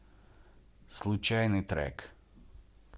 случайный трек